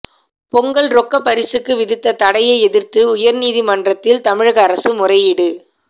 பொங்கல் ரொக்க பரிசுக்கு விதித்த தடையை எதிர்த்து உயர்நீதிமன்றத்தில் தமிழக அரசு முறையீடு